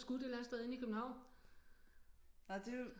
Skudt et eller andet sted inde i København